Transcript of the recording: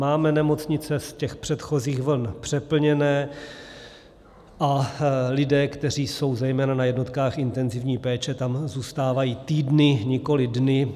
Máme nemocnice z těch předchozích vln přeplněné a lidé, kteří jsou zejména na jednotkách intenzivní péče, tam zůstávají týdny, nikoliv dny.